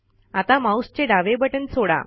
आता माऊसचे डावे बटण सोडा